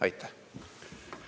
Aitäh!